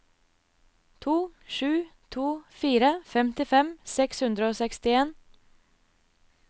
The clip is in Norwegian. to sju to fire femtifem seks hundre og sekstien